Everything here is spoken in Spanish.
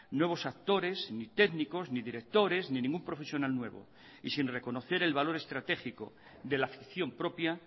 nuevos actores ni técnicos ni directores ni ningún profesional nuevo y sin reconocer el valor estratégico de la afición propia